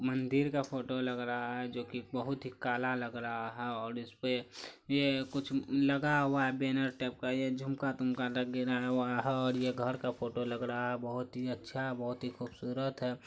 मंदिर का फोटो लग रहा है जो की बहोत ही काला लग रहा है और इसपे ये कुछ लगा हुवा है बैनर टाइप का ये झुमका तुमका ये घर का फोटो लग रहा है बहोत ही अच्छा बहोत ही खुबसुरत है।